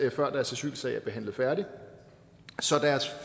asylsag er behandlet færdig så deres